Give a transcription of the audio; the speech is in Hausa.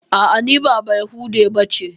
A'a, ni ba bayahudiya bace.